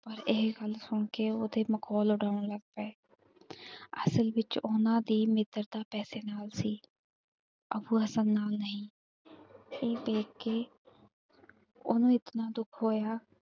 ਇਹ ਗੱਲ ਸੁਣ ਕੇ ਉਹਦੇ ਮਖੌਲ ਉਡਾਣ ਲਗ ਪਏ, ਅਸਲ ਵਿਚ ਉਹਨਾਂ ਦੀ ਮਿੱਤਰਤਾ ਪੈਸੇ ਨਾਲ ਸੀ। ਅੱਬੂ ਹਸਨ ਨਾਲ ਨਹੀਂ ਇਹ ਵੇਖ ਕੇ ਓਹਨੂੰ ਇਤਨਾ ਦੁੱਖ ਹੋਇਆ।